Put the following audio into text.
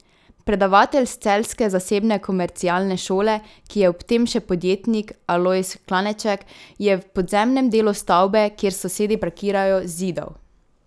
Predavatelj s celjske zasebne komercialne šole, ki je ob tem še podjetnik, Alojz Klaneček, je v podzemnem delu stavbe, kjer s sosedi parkirajo, zidal.